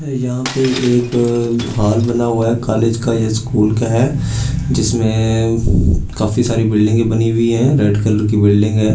यहां पे एक हॉल बना हुआ है कॉलेज का या स्कूल का है जिसमें काफी सारी बिल्डिंगे बनी हुईं हैं रेड कलर की बिल्डिंग है।